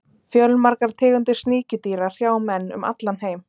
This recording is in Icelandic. Fjölmargar tegundir sníkjudýra hrjá menn um allan heim.